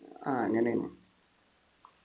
ആഹ് അങ്ങനെയാണ്